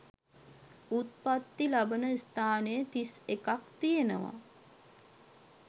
උප්පත්ති ලබන ස්ථාන තිස් එකක් තියෙනවා.